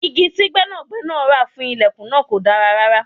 Igi tí gbẹ́nàgbẹ́nà ra fún ìlẹ̀kùn náà kò dára.